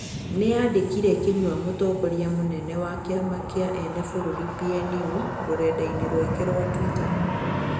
niandĩkĩre Kinyua mũtongorĩa mũnene wa kĩama kĩa ene bũrũrĩ PNU rũrenda- ĩnĩ rwake rwa twĩta